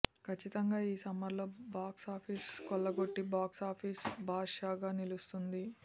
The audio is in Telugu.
ఖచ్చితంగా ఈ సమ్మర్లో బాక్స్ ఆఫీసు ని కొల్లగొట్టి బాక్స్ ఆఫీసు బాద్ షా గా నిలుస్తుంది